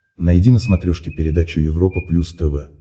найди на смотрешке передачу европа плюс тв